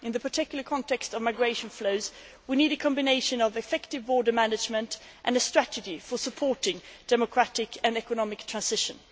In the particular context of migration flows, we need a combination of effective border management and a strategy for supporting democratic and economic transition.